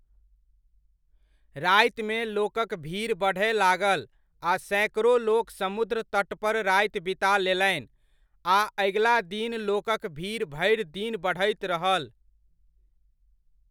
रातिमे लोकक भीड़ बढ़य लागल आ सैकड़ो लोक समुद्र तटपर राति बिता लेलनि आ अगिला दिन लोकक भीड़ भरि दिन बढ़ैत रहल।